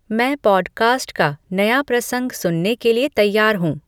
मैं पॉडकास्ट का नया प्रसंग सुनने के लिए तैयार हूँ